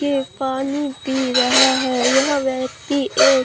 यह पानी पी रहा है यह व्यक्ति एक--